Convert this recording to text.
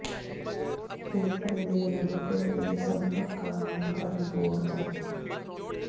ਫੇਫੜੇ ਦੇ ਨਡੁਕਲ ਦੇ ਸੰਭਵ ਕਾਰਨਾਂ ਬਾਰੇ ਹੋਰ ਜਾਣੋ